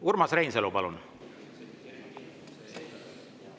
Urmas Reinsalu, palun!